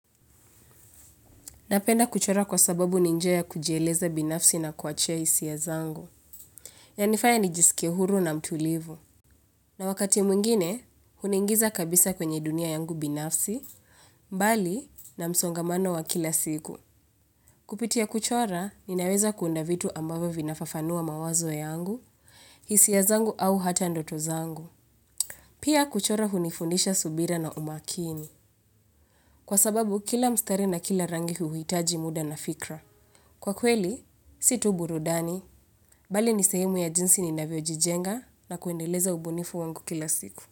Napenda kuchora kwa sababu ni njia ya kujieleza binafsi na kuachia hisiya zangu. Yanifanya nijisikie huru na mtulivu. Na wakati mwingine, huningiza kabisa kwenye dunia yangu binafsi, mbali na msongamano wa kila siku. Kupitia kuchora, ninaweza kuunda vitu ambavo vinafafanua mawazo ya yangu, hisiya zangu au hata ndoto zangu. Pia kuchora hunifundisha subira na umakini. Kwa sababu kila mstari na kila rangi huwitaji muda na fikra. Kwa kweli, si tuburudani, bali nisehimu ya jinsi ni naviojijenga na kuendeleza ubunifu wangu kila siku.